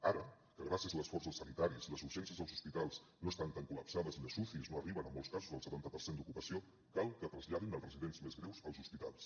ara que gràcies a l’esforç dels sanitaris les urgències dels hospitals no estan tan collapsades i les ucis no arriben en molts casos al setanta per cent d’ocupació cal que traslladin els residents més greus als hospitals